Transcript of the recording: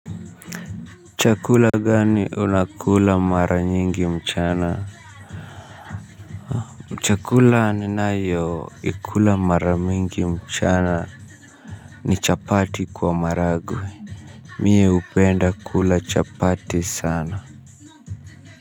Chakula gani unakula mara nyingi mchana. Chakula ninayo ikula mara mingi mchana. Ni chapati kwa maragwe. Mie upenda kula chapati sana.